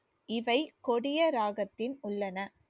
இவை கொடிய ராகத்தில் உள்ளன